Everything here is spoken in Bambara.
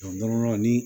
ni